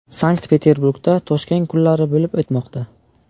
Sankt-Peterburgda Toshkent kunlari bo‘lib o‘tmoqda.